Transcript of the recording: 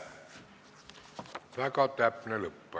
Väga täpne lõpp.